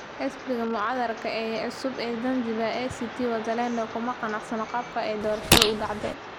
Xisbiga mucaaradka ee cusub ee Zanzibar, ACT Wazalendo kuma qanacsana qaabka ay doorashadu u dhacday.